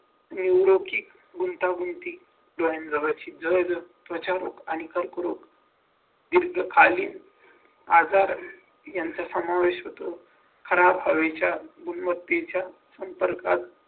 गुंतागुंती त्वचारोग आणि कर्करोग तग आजार समावेश होतो खराब हवेच्या गुणवत्तेच्या संपर्कात